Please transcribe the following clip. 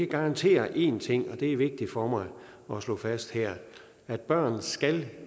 garantere én ting og det er vigtigt for mig at slå fast her børn skal